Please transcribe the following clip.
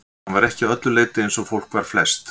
Hann var ekki að öllu leyti eins og fólk var flest.